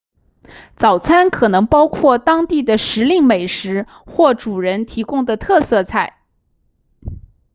早餐可能包括当地的时令美食或主人提供的特色菜